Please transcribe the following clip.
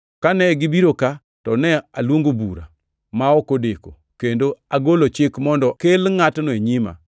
Kane gibiro ka, to ne aluongo bura ma ok odeko, kendo agolo Chik mondo kel ngʼatno e nyima.